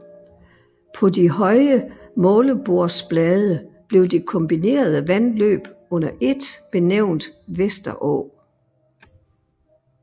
På de høje målebordsblade blev det kombinerede vandløb under et benævnt Vesterå